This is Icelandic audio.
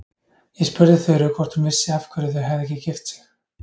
Ég spurði Þuru hvort hún vissi af hverju þau hefðu ekki gift sig.